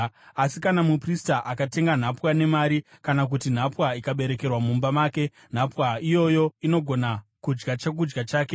Asi kana muprista akatenga nhapwa nemari, kana kuti nhapwa ikaberekerwa mumba make, nhapwa iyoyo inogona kudya chokudya chake.